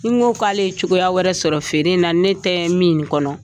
N ko k'ale cogoya wɛrɛ sɔrɔ feere in na ne tɛ min kɔnɔ